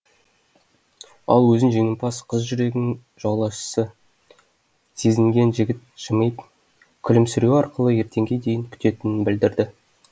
ал өзін жеңімпаз қыз жүрегінің жаулаушысы сезінген жігіт жымиып күлімсіреуі арқылы ертеңге дейін күтетінін білдірді